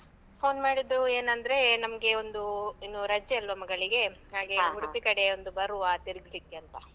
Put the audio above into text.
Phone ಮಾಡಿದ್ದು ಏನಂದ್ರೇ, ನಮ್ಗೆ ಒಂದು ಇನ್ನು ರಜೆ ಅಲ್ವಾ ಮಗಳಿಗೆ ಉಡುಪಿ ಕಡೆ ಒಂದು ಬರುವಾ ತಿರುಗ್ಲಿಕ್ಕೆ ಅಂತಾ.